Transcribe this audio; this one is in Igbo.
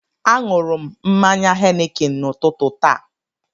Aṅụrụ m mmanya Henikin n'ụtụtụ taa